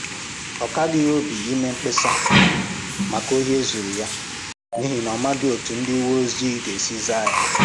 Ọ kaghị ya obi ime mkpesa maka ohi e zuru ya, n’ihi na ọ̀ maghị̀ otú ndị uweojii gā-esi zàa ya